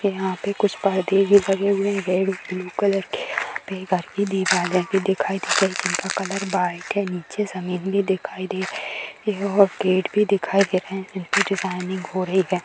यहाँ पे कुछ पर्दे भी लगे हुए हैं रेड ब्लू कलर के यहाँ पे काफी दीवारें भी दिखाई दे रही हैं जिनका कलर वाइट है नीचे जमीन भी दिखाई दे रही है और गेट भी दिखाई दे रहें हैं जो की डिजाइनिंग हो रही है।